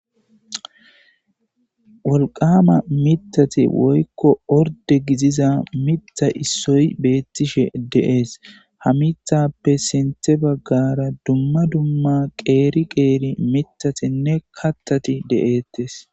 Wolqama methati woyko orde gidiza mitha issoy betishe de'es ha mithape sinthe bagara dumma dumma qeri qeri mithatine kathati de'etes